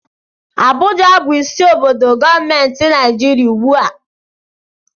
Abuja bụ isi obodo gọọmenti Naịjirịa ugbu a